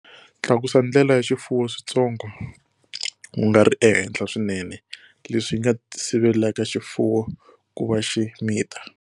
Tlakusa ndlela ya xifuwo switsongo, ku nga ri ehenhla swinene, leswi nga sivelaka xifuwo ku va xi mita.